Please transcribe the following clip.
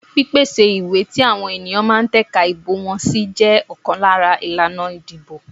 Pípèsè ìwé tí àwọn èèyàn ma tẹ̀ka ìbò wọn sí jẹ ọ̀kan lára ìlànà ìdìbò.